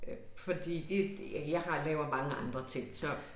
Øh fordi det ja jeg har laver mange andre ting så